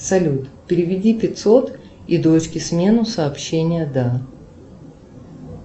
салют переведи пятьсот и дочке смену сообщение да